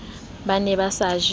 ba ne ba sa je